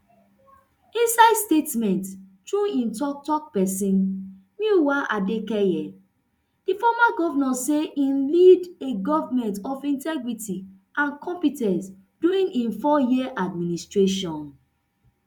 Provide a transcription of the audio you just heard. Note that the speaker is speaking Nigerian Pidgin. inside statement through im toktok pesin muyiwa adekeye di former govnor say im lead a government of integrity and compe ten ce during im eightyear administration